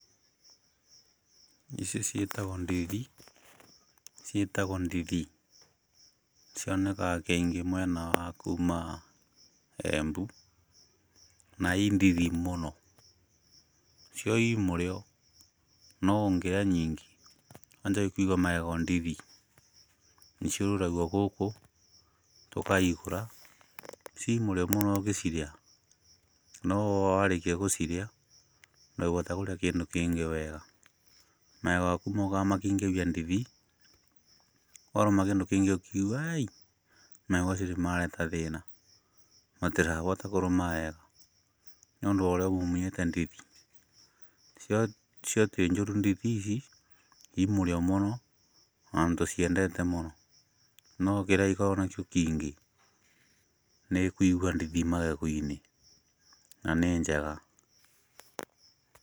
Ici ciĩtagwo ndithi, ciĩtagwo ndithi, cioneka keingĩ mwena wa kuuma Embu, na i ndithi mũno, cio i mũrĩo no ũngĩrĩa nyiingĩ, wanjagi kũigua magego ndithi, nĩciũrũragio gũkũ tũkaigũra, ci mũrĩo mũno ũgĩcirĩa, no owarĩkia gũcirĩa, ndũngĩbota kũrĩa kĩndũ kĩngĩ wega, magego maku mokaga makeingĩria ndithi, warũma kĩndũ kĩngĩ ũkeigua aii, magego macio nĩ mareta thĩĩna, matĩrabota kũrũma wega nĩũndũ worĩa ũiguĩte ndithi, cio tĩ njũru ndithi ici, i mũrĩo mũno, ona tũciendete mũno, no kĩrĩa gĩkoragwo nakĩo kĩingĩ nĩ kũigua ndithi magego-inĩ, na nĩ njega.